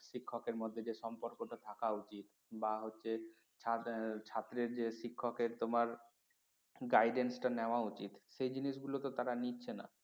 শিক্ষকের মধ্যে যে সম্পর্কটা থাকা উচিত বা হচ্ছে ছাত্রের যে শিক্ষকের তোমার guidance টা নেওয়া উচিত সেই জিনিসগুলো তো তারা নিচ্ছে না